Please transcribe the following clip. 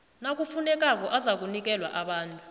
nakufunekako azakunikelwa abantu